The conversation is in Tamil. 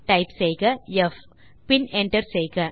டைப் செய்க ப் பின் என்டர் செய்க